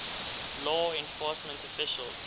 law enforcement officials